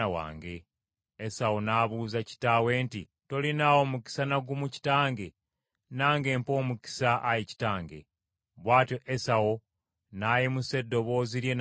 Esawu n’abuuza kitaawe nti, “Tolinaawo mukisa na gumu kitange? Nange mpa omukisa, ayi kitange.” Bw’atyo Esawu n’ayimusa eddoboozi lye n’akaaba.